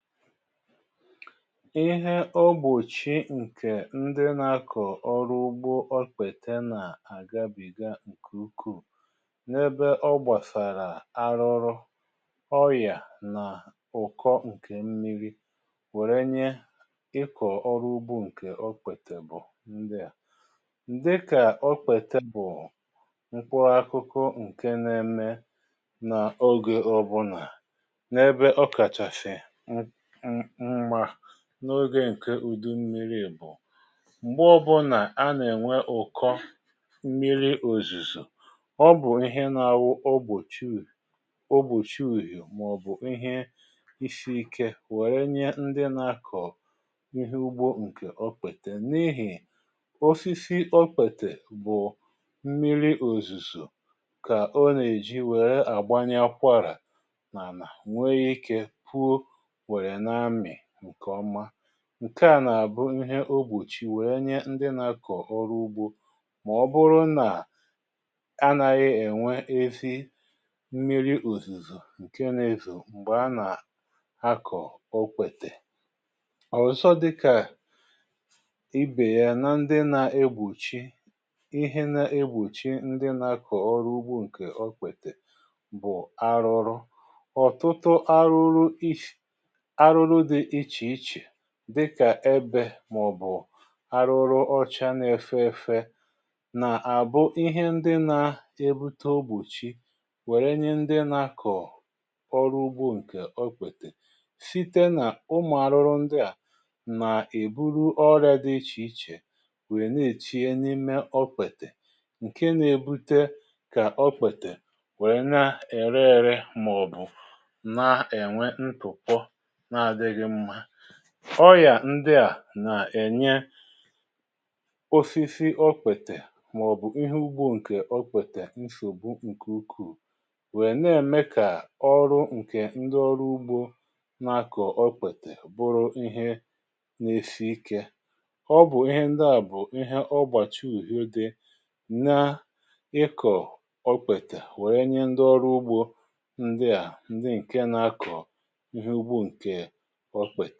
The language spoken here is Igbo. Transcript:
Ịhe o gbòchì ǹkè ndị nȧ-ȧkọ̀ ọrụ ugbȯ okpete nà àgabìga ǹkè ukwuù n’ebe ọ gbàsàrà arụrụ, ọyà, nà ụ̀kọ ǹkè mmiri̇ wère nye ịkọ̀ ọrụ ugbȯ ǹkè okpètè bụ̀ ndịà: dị kà okpètè bụ̀ mkpụrụ akụkụ ǹkè nȧ-ėmė n’ogè ọ̇bụ̀nà, na ebe ọkaschasi mma n’oge ǹke ùdu mmiri̇ bụ̀, m̀gbè ọbụ̀là a nà-ènwe ụ̀kọ mmiri òzùzù ọ bụ̀ ihe nȧ-awụ ogbochi ùyì ọ gbòchie ùyì màọ̀bụ̀ ihe isi̇ ike wère nye ndị nȧ-akọ̀ ihe ugbȯ ǹkè okwètè n’ihì osisi okpètè bụ̀ mmiri òzùzù kà o nè-èji wère àgbanya akwarà nà ànà nwee ike pụọ wee na amị nke oma. Nke à nà-àbụ ihe ogbùchi wèe nye ndị nà-akọ̀ ọrụ ugbȯ màọbụrụ nà anaghị ènwe ezi mmiri òzìzò ǹke nȧ-ezò m̀gbè a nà-akọ̀ okpètè. Ọzọ dịkà ibè ya na ndị nà-egbùchi ihe nà-egbùchi ndị nà-akọ̀ ọrụ ugbȯ ǹkè okpètè bụ̀ arụrụ. Ọtụtụ arụrụ isi arụrụ dị ichè ichè dịkà ebė, màọ̀bụ̀ arụrụ ọcha na-efe efe nà àbụ ihe ndị na-ebute ogbòchi wère nye ndị nakọ̀ ọrụ ugbo ǹkè ọ kwètè site nà ụmụ̀ arụrụ ndị à nà èburu ọrịȧ dị ichè ichè wèe na-èchie n’ime okpètè ǹke na-ebute kà okpètè wèe na-ère ėre màọ̀bụ̀ na-ènwe ntụ̀pọ na adịghị mma. Ọ yà ndị à nà-ènye osisi okpètè màọ̀bụ̀ ihe ugbo ǹkè okpètè nsògbu ǹkè ukwù wèe nà-ème kà ọrụ ǹkè ndị ọrụ ugbo nà-akọ̀ okpètè bụrụ ihe nà-esi ikė. Ọ bụ̀ ihe ndị à bụ̀ ihe ọgbàtu ùhịȯ dị nà ịkọ̀ okpètè wèe nye ndị ọrụ ugbȯ ndị a ndị ǹkè na akọ ihe ugbo nke okpète.